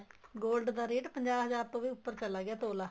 gold ਦਾ rate ਪੰਜਾਹ ਹਜ਼ਾਰ ਤੋ ਵੀ ਉੱਪਰ ਚਲਾ ਗਿਆ ਤੋਲਾ